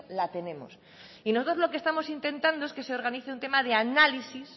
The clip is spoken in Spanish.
la tenemos y nosotros lo que estamos intentando es que se organice un tema de análisis